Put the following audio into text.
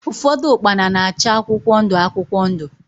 Ụfọdụ ukpana na-acha akwụkwọ ndụ akwụkwọ ndụ.